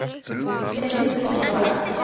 Bjarmar, hver syngur þetta lag?